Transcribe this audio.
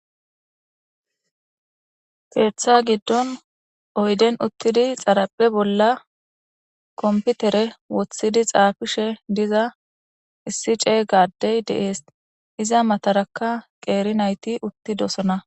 Keeththa giddon oyden uttidi xarabe bolla komputere woththidi xaafishe diza issi cey gaadey deees iza matarakka qeeri nayti uttidosona.